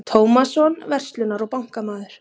Tómasson, verslunar- og bankamaður.